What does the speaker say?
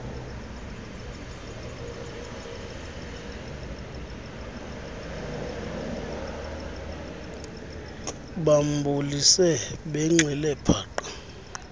bambulise benxile paqa